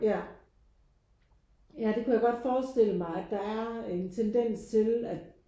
Ja ja det kunne jeg godt forestille mig at der er en tendens til at